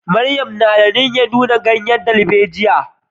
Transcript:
Mariam na da niyyar nuna ganyen darbejiya.